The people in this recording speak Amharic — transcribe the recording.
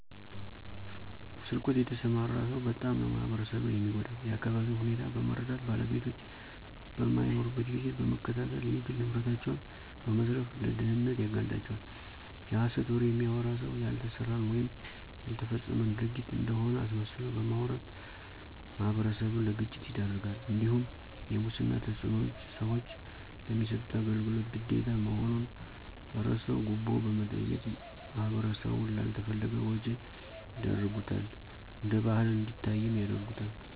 በስርቆት የተሰማራ ሰው በጣም ነው ማህበረሰብን የሚጎዳው የአካቢውን ሁኔታ በመረዳት ባለቤቶች በማይኖሩበት ጊዜ በመከታተል የግል ንብረታቸውን በመዝረፍ ለድህነት ያጋልጣቸዋል፤ የሐሰት ወሬ የሚያወራ ሰው ያልተሰራን ወይም ያልተፈጸመን ድርጊት እንደሆነ አስመስሎ በማውራት ማህበረሰብን ለግጭት ይዳርጋልእንዲሁም የሙስና ተጽዕኖዎች ሰዎች ለሚሰጡት አገልግሎት ግዴታ መሆኑን እረስተው ጉቦ በመጠየቅ ማህበረሰቡን ላልተፈለገ ወጭ ይዳርጉታል እነደባል እንዲታይም ያረጉታል።